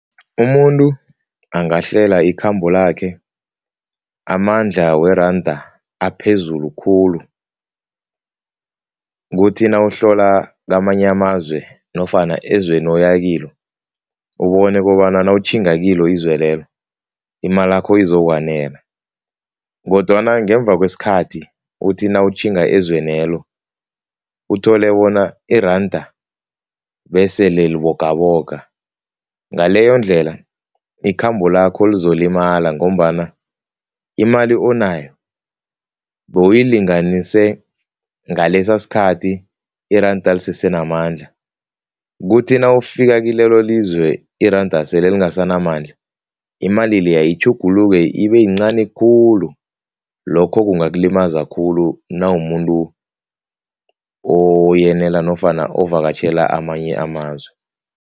Umuntu angahlela ikhambo lakhe amandla weranda aphezulu khulu kuthi nawuhlola kamanye amazwe nofana ezweni oyakilo, ubone kobana nawutjhinga kilo izizwe lelo imalakho izokwanela kodwana ngemva kwesikhathi uthi nawutjhinga ezwenelo, uthole bona iranda besele libogaboga, ngaleyondlela, ikhambo lakho lizolimala ngombana imali onayo bowuyilinganise ngalesasikhathi iranda lisesenamandla, kuthi nawufika kilelolizwe iranda sele lingasanamandla, imali leya itjhuguluke ibeyincani khulu, lokho kungakulimaza khulu nawumuntu nofana ovakatjhela amanye amazwe.